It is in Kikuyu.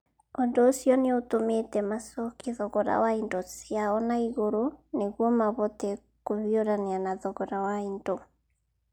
Ũndũ ũcio nĩ ũtũmĩte macokie thogora wa indo ciao na igũrũ nĩguo mahote kũhiũrania na thogora wa indo.